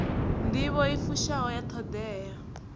nḓivho i fushaho ya ṱhoḓea